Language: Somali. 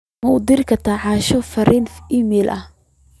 ma u diri kartaa asha fariin iimayl ahaan